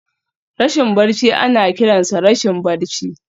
Rashin barci ana kiransa rashin barci.